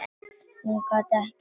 Hún gat ekkert sagt.